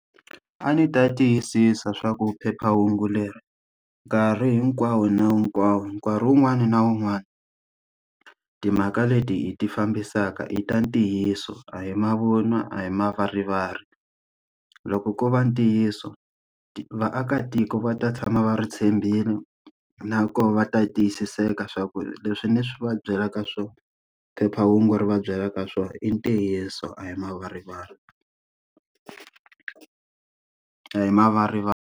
A ndzi ta tiyisisa swa ku phephahungu leri, nkarhi hinkwawo na hinkwawo nkarhi wun'wani na wun'wani timhaka leti hi ti fambisaka i ta ntiyiso a hi mavun'wa, a hi mavarivari. Loko ko va ntiyiso vaakatiko va ta tshama va ri tshembile, nakona va ta yi tiyisiseka swa ku leswi ni va byelaka swona phephahungu ri va byelaka swona i ntiyiso a hi mavarivari. A hi .